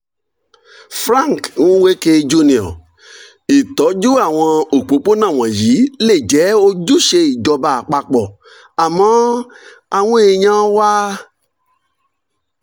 frank nweke jr.: ìtọ́jú àwọn òpópónà wọ̀nyí lè jẹ́ ojúṣe ìjọba àpapọ̀ àmọ́ àwọn èèyàn wa